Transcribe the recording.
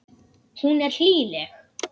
Hún er hlýleg.